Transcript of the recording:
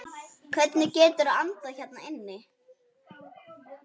Hvernig geturðu andað hérna inni?